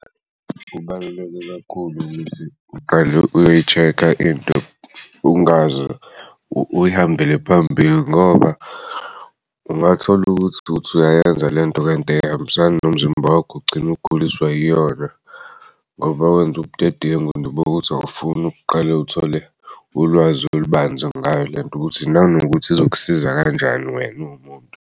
Kubaluleke kakhulu ukuthi uqale uyoyi-check-a into ungazi uyihambele phambili ngoba ungathola ukuthi uyayenza lento kanti ayihambisani nomzimba wakho kugcin'uguliswa yiyona ngoba wenze ubudedengu awufuni uqale uthole ulwazi olubanzi ngayo lento ukuthi nanokuthi izokusiza kanjani wena uwumuntu.